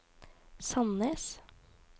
Sandnes